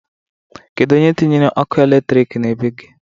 Kedu onye tinyere ọkụ elektrik na bee gi?